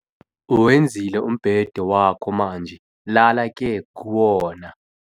Uwenzile umbhede wakho manje lala ke kuwona